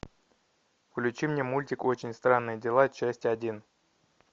включи мне мультик очень странные дела часть один